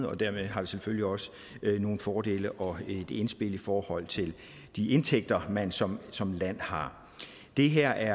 og dermed har vi selvfølgelig også nogle fordele og et indspil i forhold til de indtægter man som som land har det her